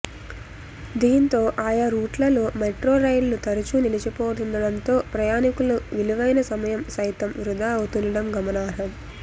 దీంతో ఆయా రూట్లలో మెట్రో రైళ్లు తరచూ నిలిచిపోతుండడంతో ప్రయాణీకుల విలువైన సమయం సైతం వృథా అవుతుండడం గమనార్హం